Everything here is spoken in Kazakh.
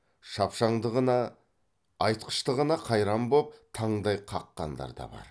шапшаңдығына айтқыштығына қайран боп таңдай қаққандар да бар